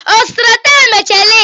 Ọ zụtara taya Michelin?